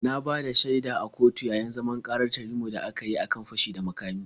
Na bada shaida a kotu yayi zaman ƙarar Tanimu da aka kyi a kan fashi da makami.